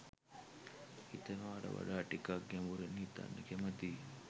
හිතනවාට වඩා ටිකක් ගැඹුරින් හිතන්න කැමතියි.